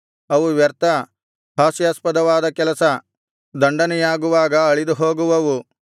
ಅವು ವ್ಯರ್ಥ ಹಾಸ್ಯಾಸ್ಪದವಾದ ಕೆಲಸ ದಂಡನೆಯಾಗುವಾಗ ಅಳಿದುಹೋಗುವವು